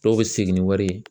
Dɔw bɛ segin ni wari ye